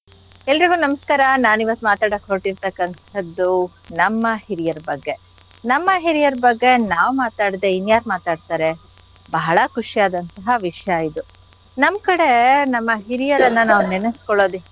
ಎಲ್ರಿಗೂ ನಮಸ್ಕಾರ. ನಾನ್ ಇವತ್ ಮಾತಾಡಕ್ ಹೊರ್ಟಿರ್ತಕ್ಕಂಥದ್ದು ನಮ್ಮ ಹಿರಿಯರ ಬಗ್ಗೆ. ನಮ್ಮ ಹಿರಿಯರ್ ಬಗ್ಗೆ ನಾವ್ ಮಾತಾಡ್ದೆ ಇನ್ಯಾರ್ ಮಾತಾಡ್ತಾರೆ? ಬಹಳ ಖುಷಿಯಾದಂಥಹ ವಿಷಯ ಇದು. ನಮ್ ಕಡೆ ನಮ್ಮ ಹಿರಿಯರನ್ನ ನಾವ್ ನೆನ್ಸ್ಕೊಳೋದಕ್ಕೆ.